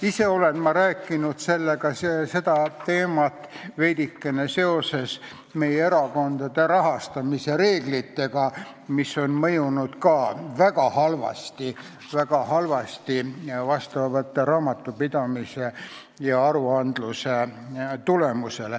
Ise olen ma rääkinud sellest teemast seoses meie erakondade rahastamise reeglitega, mis on mõjunud väga halvasti raamatupidamisele ja aruandlusele.